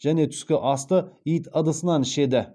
және түскі асты ит ыдысынан ішеді